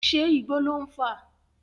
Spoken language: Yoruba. Ṣé Igbó lò ń fà?